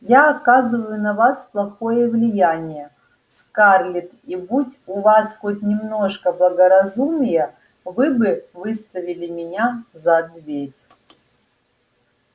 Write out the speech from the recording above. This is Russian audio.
я оказываю на вас плохое влияние скарлетт и будь у вас хоть немножко благоразумия вы бы выставили меня за дверь